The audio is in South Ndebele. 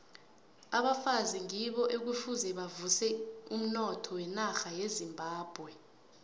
abafazi ngibo ekufuze bavuse umnotho wenarha yezimbabwe